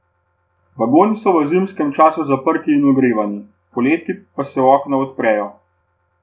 Vagoni so v zimskem času zaprti in ogrevani, poleti pa se okna odprejo.